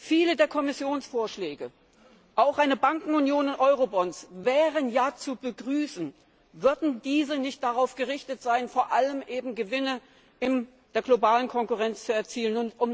Viele der Kommissionsvorschläge, auch eine Bankenunion und Eurobonds, wären ja zu begrüßen, wären diese nicht darauf gerichtet, vor allem Gewinne in der globalen Konkurrenz zu erzielen.